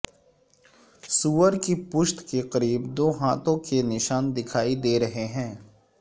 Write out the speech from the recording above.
سور کی پشت کے قریب دو ہاتھوں کے نشان دکھائی دے رہے ہیں